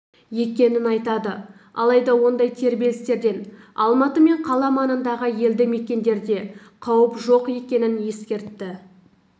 екенін айтады алайда ондай тербелістерден алматы мен қала маңындағы елді мекендерге қауіп жоқ екенін ескертті